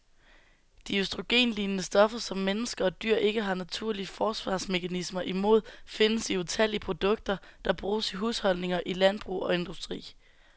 De østrogenlignende stoffer, som mennesker og dyr ikke har naturlige forsvarsmekanismer imod, findes i utallige produkter, der bruges i husholdninger, i landbrug og industri.